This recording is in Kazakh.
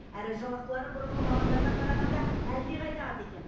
әрі жалақылары бұрынғы мамандардан қарағанда әлдеқайда аз екен